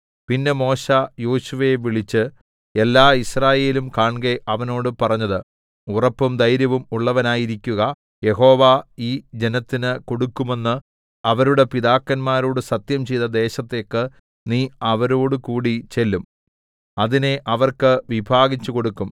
പിന്നെ മോശെ യോശുവയെ വിളിച്ച് എല്ലാ യിസ്രായേലും കാൺകെ അവനോട് പറഞ്ഞത് ഉറപ്പും ധൈര്യവും ഉള്ളവനായിരിക്കുക യഹോവ ഈ ജനത്തിന് കൊടുക്കുമെന്ന് അവരുടെ പിതാക്കന്മാരോട് സത്യംചെയ്ത ദേശത്തേക്ക് നീ അവരോടുകൂടി ചെല്ലും അതിനെ അവർക്ക് വിഭാഗിച്ചുകൊടുക്കും